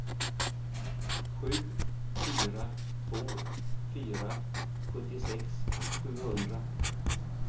sju fyra två fyra sjuttiosex sjuhundra